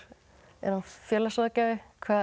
er hann félagsráðgjafi